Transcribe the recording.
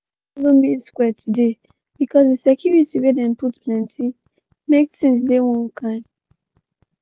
we no follow main square today bcoz di security wey dem put plenty make tins dey one kain.